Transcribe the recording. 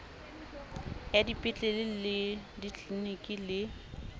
ya dipetlele le ditliliniki le